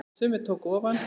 Sumir tóku ofan!